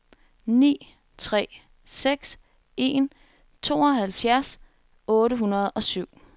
ni tre seks en tooghalvfjerds otte hundrede og syv